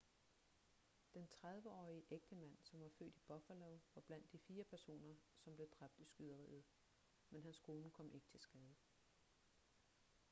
den 30-årige ægtemand som var født i buffalo var blandt de fire personer som blev dræbt i skyderiet men hans kone kom ikke til skade